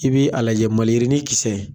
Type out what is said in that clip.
I bi a lajɛ , maliyirini kisɛ.